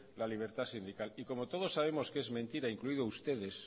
la libertad sindical y como todos sabemos que es mentira incluido ustedes